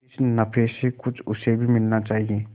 इस नफे में कुछ उसे भी मिलना चाहिए